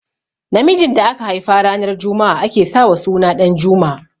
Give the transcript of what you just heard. Namijin da aka haifa ranar juma'a ake sa wa suna Ɗanjuma